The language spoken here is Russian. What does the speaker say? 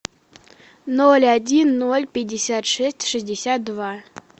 ноль один ноль пятьдесят шесть шестьдесят два